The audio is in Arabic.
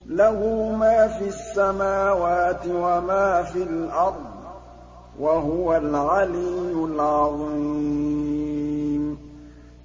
لَهُ مَا فِي السَّمَاوَاتِ وَمَا فِي الْأَرْضِ ۖ وَهُوَ الْعَلِيُّ الْعَظِيمُ